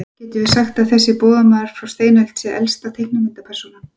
Getum við sagt að þessi bogmaður frá steinöld sé elsta teiknimyndapersónan?